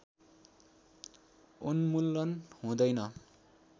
उन्मूलन हुँदैन